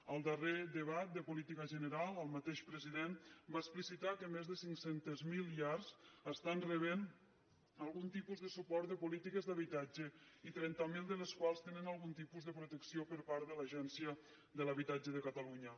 en el darrer debat de política general el mateix president va explicitar que més de cinc centes mil llars estan rebent algun tipus de suport de polítiques d’habitatge i trenta mil de les quals tenen algun tipus de protecció per part de l’agència de l’habitatge de catalunya